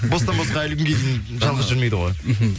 бостан босқа әлі күнге дейін жалғыз жүрмейді ғой мхм